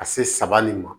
Ka se sabali ma